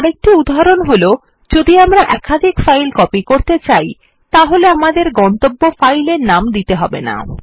আরেকটি উদাহরণ যখন আমরা একাধিক ফাইল কপি করতে হলে আমাদের গন্তব্য ফাইলের নাম দিতে হবে না